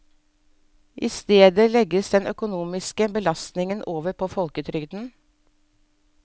I stedet legges den økonomiske belastningen over på folketrygden.